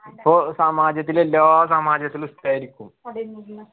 പ്പോ സമാജത്തിലെ എല്ലാ സമാജത്തിലു ഇഷ്ടായിരിക്കും